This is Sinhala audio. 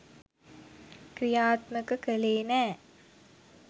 ක්‍රියාත්මක කළේ නෑ